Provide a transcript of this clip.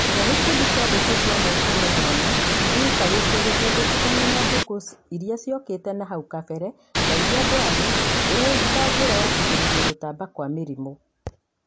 Iga gĩkundi kĩa ngũkũ cia mũũkano mwanya kĩikarĩtie gĩtegũtukana na ngũkũ iria ciokĩte na hau kabere na iria ndwaru ĩta njĩra ya kũgirĩrĩria gũtamba kwa mĩrimũ.